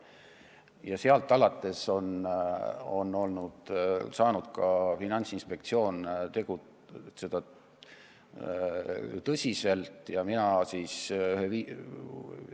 Ja sealt alates on Finantsinspektsioon saanud tõsiselt tegutseda.